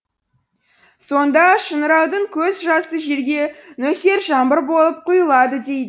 сонда шыңыраудың көз жасы жерге нөсер жаңбыр болып құйылады дейді